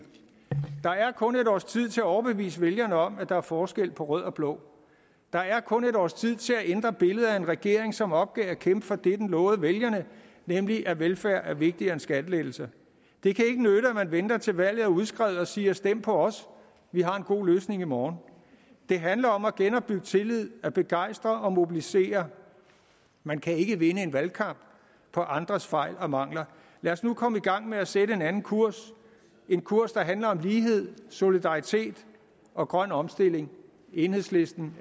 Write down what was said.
der er kun et års tid til at overbevise vælgerne om at der er forskel på rød og blå der er kun et års tid til at ændre billedet af en regering som opgav at kæmpe for det den lovede vælgerne nemlig at velfærd er vigtigere end skattelettelser det kan ikke nytte at man venter til valget er udskrevet og siger stem på os vi har en god løsning i morgen det handler om at genopbygge tillid at begejstre og mobilisere man kan ikke vinde et valg på andres fejl og mangler lad os nu komme i gang med at sætte en anden kurs en kurs der handler om lighed solidaritet og grøn omstilling enhedslisten